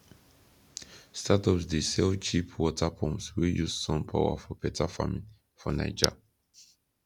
startups dey sell cheap water pumps wey use sun power for better farming for naija